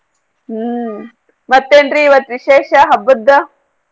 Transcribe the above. ಆಹ್ ಮತ್ತೆ ನ್ರೀ ಇವತ್ತ ವಿಶೇಷಾ ಹಬ್ಬದ್ದ?